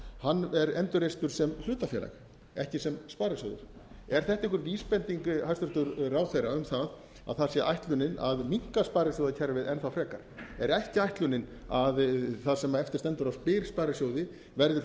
hann er endurreistur sem hlutafélag ekki sem sparisjóður er þetta einhver vísbending hæstvirtur ráðherra um það að það sé ætlunin að minnka sparisjóðakerfið enn þá frekar er ekki ætlunin að það sem eftir stendur af byr sparisjóði verði